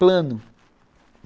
Plano.